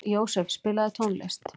Jósef, spilaðu tónlist.